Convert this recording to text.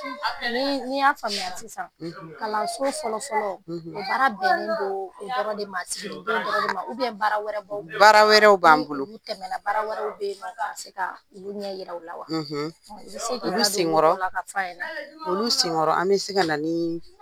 Ni n y'a faamuya kalanso fɔlɔ o baara bƐnne ka na nin don kunfƆlƆ de ma baara wƐrƐw b'a bolo olu senkƆrƆ an bƐ se ka na ni,